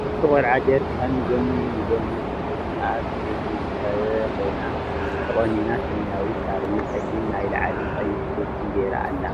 ሓንቲ ቆልዓ ጀረካን ንጎኒ ብገመድ ተሸኪማ ኣብ ብእምኒ ዝተከበበ ኮይና ተቆኒና ሰመያዊ ሻርፒ ፀሊም ናይ ላዕልን ቀይሕ ጉርዲ ጌሬ ኣላ።